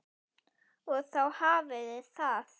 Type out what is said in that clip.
Og þá hafiði það!